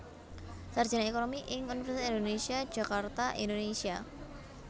Sarjana Ekonomi ing Universitas Indonésia Jakarta Indonésia